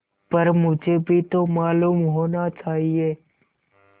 पर मुझे भी तो मालूम होना चाहिए